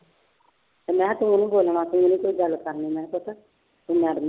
ਤੇ ਮੈਂ ਕਿਹਾ ਤੂੰ ਨੀ ਬੋਲਣਾ ਤੂੰ ਨੀ ਕੋਈ ਗੱਲ ਕਰਨੀ ਤੇ madam ਨੂੰ